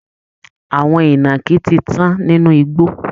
Àwọn ìnàkí ti tán nínú igbó